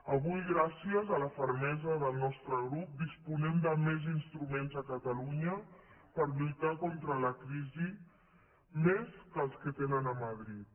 avui gràcies a la fermesa del nostre grup disposem de més instruments a catalunya per lluitar contra la crisi més que els que tenen a madrid